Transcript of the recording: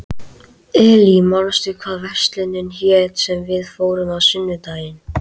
Elí, manstu hvað verslunin hét sem við fórum í á sunnudaginn?